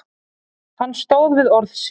Hann stóð við orð sín.